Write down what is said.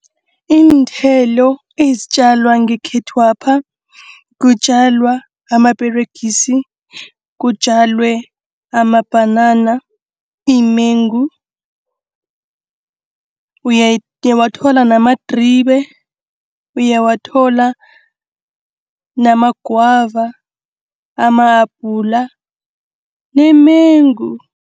Iinthelo ezitjalwa ngekhethwapha. Kutjalwa amaperegisi, kutjalwe amabhanana, iimengu, uyawathola namadribe, uyawathola namagwava, amahabhula neemengu.